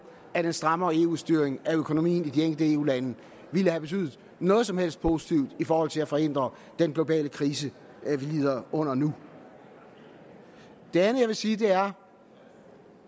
at en strammere eu styring af økonomien i de enkelte eu lande ville have betydet noget som helst positivt i forhold til at forhindre den globale krise vi lider under nu det andet jeg vil sige er